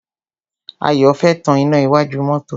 Ayọ̀ fẹ́ tan iná iwájú mọ́tọ́.